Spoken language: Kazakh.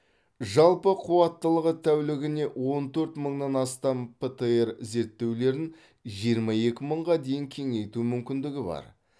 жалпы қуаттылығы тәулігіне он төрт мыңнан астам птр зерттеулерін жиырма екі мыңға дейін кеңейту мүмкіндігі бар